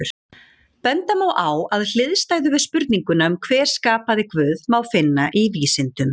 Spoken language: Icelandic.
Benda má á að hliðstæðu við spurninguna um hver skapaði Guð má finna í vísindum.